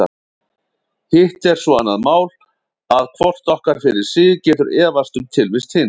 Hitt er svo annað mál að hvort okkar fyrir sig getur efast um tilvist hins.